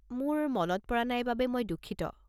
মোৰ মনত পৰা নাই বাবে মই দুঃখিত।